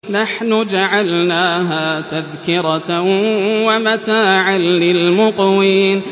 نَحْنُ جَعَلْنَاهَا تَذْكِرَةً وَمَتَاعًا لِّلْمُقْوِينَ